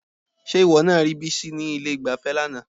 Ṣé ìwọ náà rí Bísí ní ilé-ìgbafẹ́ lánàá?